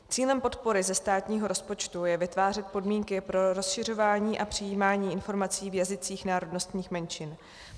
Cílem podpory ze státního rozpočtu je vytvářet podmínky pro rozšiřování a přijímání informací v jazycích národnostních menšin.